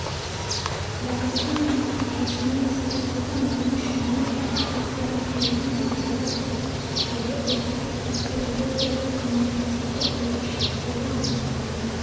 барысы мен нәтижесіне әсер ететін оның ішінде халықаралық бизнес-өзара әрекеттесудегі ұлттық-культурологиялық коммуникативтік ерекшеліктерді анықтауға